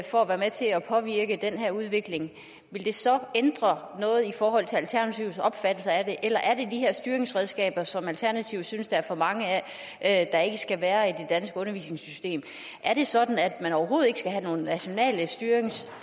for at være med til at påvirke den her udvikling ville det så ændre noget i forhold til alternativets opfattelse af det eller er det de her styringsredskaber som alternativet synes der er for mange af der ikke skal være i det danske undervisningssystem er det sådan at man overhovedet ikke skal have nogen nationale styrings